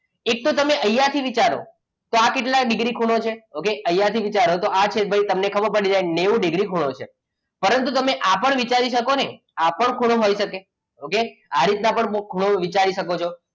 એક તો તમે અહીંયા થી વિચારો આ કેટલા ડિગ્રી ખૂણો છે? okay અહીંયા થી વિચારો તો આ તમને ખબર પડી જાય કે ભાઈ નેવું ડિગ્રી ખૂણો છે પરંતુ તમે આ પણ વિચારી શકો ને આ પણ ખૂણો હોઈ શકે okay આ રીતના પણ ખૂણો વિચારી શકો છો.